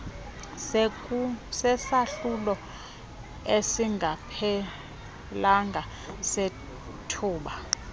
sesahlulo esingaphelanga sethuba